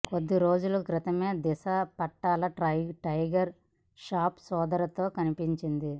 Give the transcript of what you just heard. కొద్ది రోజుల క్రితమే దిశా పటాని టైగర్ ష్రాఫ్ సోదరితో కనిపించింది